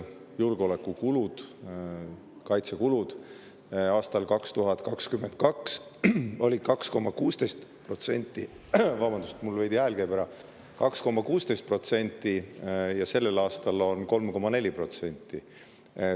Julgeolekukulud, kaitsekulud olid 2022. aastal 2,16% ja sellel aastal on 3,4%.